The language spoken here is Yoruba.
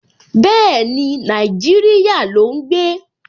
Bẹ́ẹ̀ni, Nàìjíríyà ló ún gbé